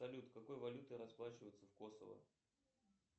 салют какой валютой расплачиваются в косово